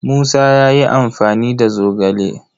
Musa ya yi amfani da zogale.